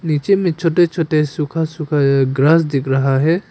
नीचे में छोटे छोटे सूखा सूखा एक ग्रास दिख रहा है।